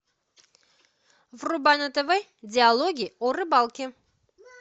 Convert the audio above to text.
врубай на тв диалоги о рыбалке